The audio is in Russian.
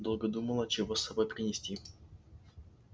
долго думала чего с собой принести